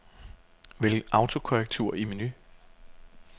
Vælg autokorrektur i menu.